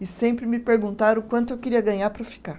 E sempre me perguntaram o quanto eu queria ganhar para ficar.